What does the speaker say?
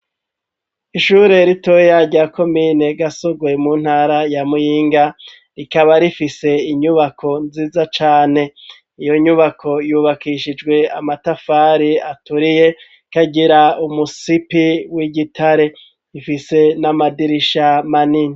Ishuri ritoya rya komine Gasorwe mu ntara ya Muyinga rikaba rifise inyubako nziza cane iyo nyubako yubakishijwe amatafari aturiye ikagira umusipi w'igitare ifise n'amadirisha manini.